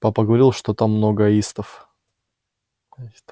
папа говорил что там много аистов